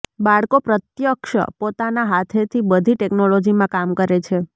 બાળકો પ્રત્યક્ષ પોતાના હાથેથી બધી ટેકનોલોજીમાં કામ કરે છે